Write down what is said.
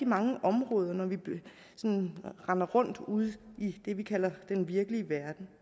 mange områder når vi render rundt ude i det vi kalder den virkelige verden